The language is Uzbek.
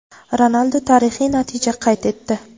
Ronaldu tarixiy natija qayd etdi.